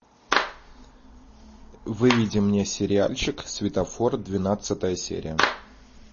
выведи мне сериальчик светофор двенадцатая серия